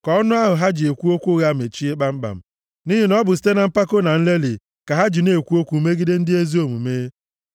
Ka ọnụ ahụ ha ji ekwu okwu ụgha mechie kpamkpam; nʼihi na ọ bụ site na mpako na nlelị ka ha ji na-ekwu okwu megide ndị ezi omume.